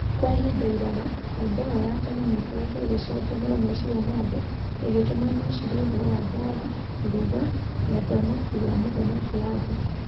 Kwa ihinda iraya, nyũmba ĩyo ya tene nĩ ĩkoretwo ĩgĩcanjamũra meciria ma andũ, ĩgĩtũma mecirie ũhoro wa mbaara, iruga, na ũthamaki wa Mũthamaki Arthur.